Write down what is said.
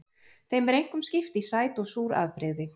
Þeim er einkum skipt í sæt og súr afbrigði.